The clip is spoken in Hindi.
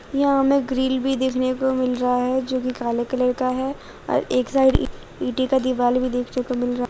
यहां हमें ग्रिल भी देखने को मिल रहा है जो जो कि काले कलर का है और एक साइड ईंटे का दिवाला भी देखने को मिल रहा।